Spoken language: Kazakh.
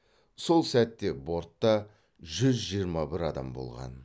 сол сәтте бортта жүз жиырма бір адам болған